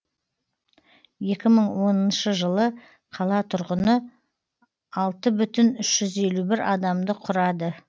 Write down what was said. екі мың оныншы жылы қала тұрғыны алты бүтін үш жүз елу бір адамды құрады